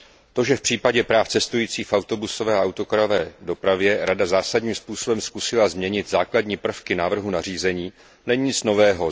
To, že v případě práv cestujících v autobusové a autokarové dopravě Rada zásadním způsobem zkusila změnit základní prvky návrhu nařízení, není nic nového.